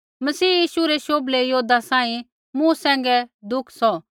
मसीह यीशु रै शोभलै योद्धा सांही मूँ सैंघै दुख सौह